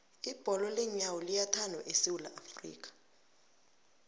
ibholo leenyawo liyathandwa esewula afrika